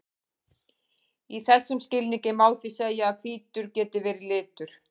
Í þessum skilningi má því segja að hvítur geti verið litur.